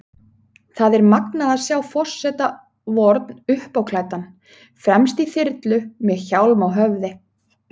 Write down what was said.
Það er magnað að sjá forseta vorn uppáklæddan, fremst í þyrlu, með hjálm á höfði.